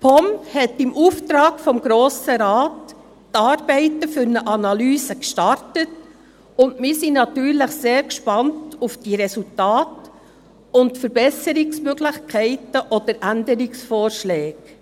Die POM hat im Auftrag des Grossen Rates die Arbeiten für eine Analyse gestartet, und wir sind natürlich sehr gespannt auf die Resultate und Verbesserungsmöglichkeiten oder Änderungsvorschläge.